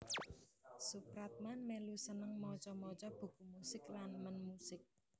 Soepratman melu seneng maca maca buku musik lan men musik